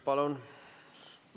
Palun!